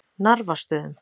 Narfastöðum